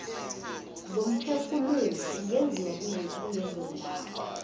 zomphefumulo ingenziwa kulezondawo